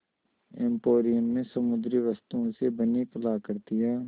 emporium में समुद्री वस्तुओं से बनी कलाकृतियाँ